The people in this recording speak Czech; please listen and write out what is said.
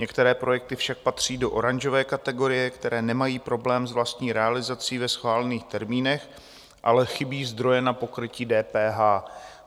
Některé projekty však patří do oranžové kategorie, které nemají problém s vlastní realizací ve schválených termínech, ale chybí zdroje na pokrytí DPH.